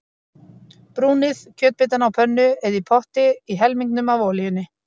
Brúnið kjötbitana á pönnu eða í potti í helmingnum af olíunni.